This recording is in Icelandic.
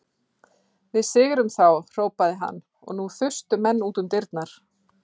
Við sigrum þá hrópaði hann og nú þustu menn út um dyrnar.